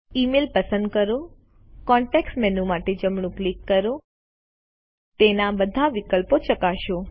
email પસંદ કરો context menu માટે જમણું ક્લિક કરો તેના બધા વિકલ્પો ચકાસો